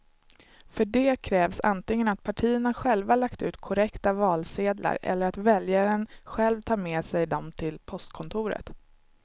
För det krävs antingen att partierna själva lagt ut korrekta valsedlar eller att väljaren själv tar med sig dem till postkontoret.